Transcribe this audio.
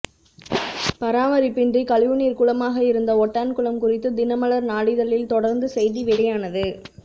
பராமரிப்பின்றி கழிவுநீர் குளமாகஇருந்த ஒட்டான்குளம் குறித்து தினமலர் நாளிதழில் தொடர்ந்து செய்தி வெளியானது